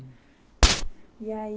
E aí...